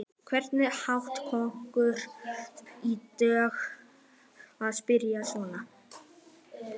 Hvernig datt okkur í hug að spyrja svona!